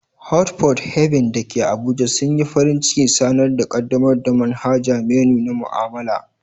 Hot Pot Haven da ke Abuja sun yi farin cikin sanar da ƙaddamar da manhajar menu na mu'amala.